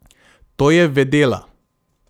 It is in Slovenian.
To je vedela.